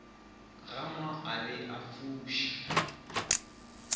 gama a be a fuša